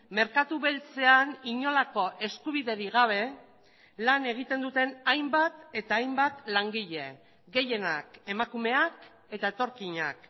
merkatu beltzean inolako eskubiderik gabe lan egiten duten hainbat eta hainbat langile gehienak emakumeak eta etorkinak